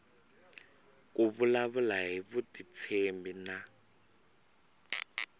ku vulavula hi vutitshembi na